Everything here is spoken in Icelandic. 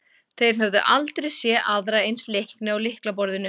Þeir höfðu aldrei séð aðra eins leikni á lyklaborðinu.